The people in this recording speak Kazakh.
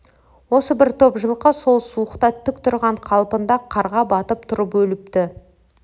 осы бір топ жылқы сол суықта тік тұрған қалпында қарға батып тұрып өліпті